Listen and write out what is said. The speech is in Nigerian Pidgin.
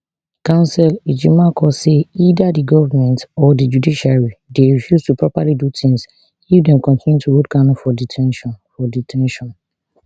counsel ejimakor say either di govment or di judiciary dey refuse to properly do tins if dem continue to hold kanu for de ten tion for de ten tion